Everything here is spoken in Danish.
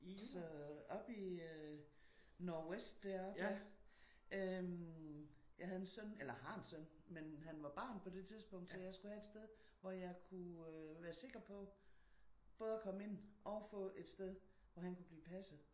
Så oppe i Nordvest deroppe ja. Øh jeg havde en søn eller har en søn men han var barn på det tidspunkt. Så jeg skulle have et sted hvor jeg kunne øh være sikker på både at komme ind og få et sted hvor han kunne blive passet